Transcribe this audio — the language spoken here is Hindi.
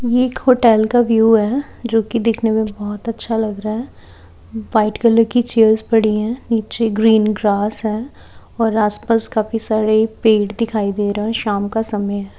ये एक होटल का व्यू है जो की दिखने में बहोत अच्छा लग रहा है वाइट कलर्स की चेयर्स पड़ी है नीचे ग्रीन ग्रास है और आस पास काफी पेड़ दिखाई दे रहे है शाम का समय--